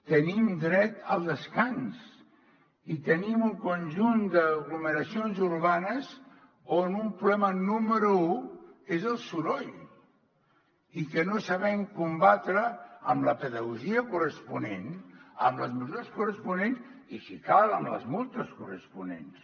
tenim dret al descans i tenim un conjunt d’aglomeracions urbanes on un problema número u és el soroll i que no sabem combatre amb la pedagogia corresponent amb les mesures corresponents i si cal amb les multes corresponents